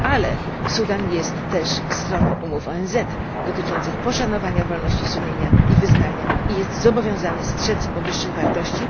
Ale Sudan jest też stroną umów ONZ dotyczących poszanowania wolności sumienia i wyznania i jest zobowiązany strzec powyższych wartości.